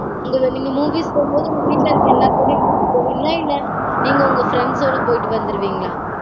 உங்க நீங்க movies போகும்போது உங்க வீட்ல இருக்க எல்லா பேரியும் கூட்டிட்டு போவீங்களா இல்ல நீங்க உங்க friends ஓட போயிட்டு வந்திருவீங்களா?